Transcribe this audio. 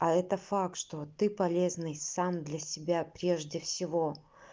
а это факт что ты полезный сам для себя прежде всего